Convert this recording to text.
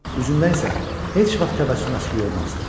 Üzündən isə heç vaxt təbəssüm əskik olmazdı.